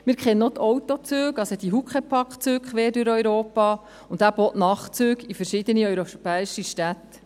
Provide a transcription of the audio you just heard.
Wir kennen auch die Autozüge – die Huckepack-Züge – quer durch Europa und eben auch die Nachtzüge in verschiedene europäische Städte.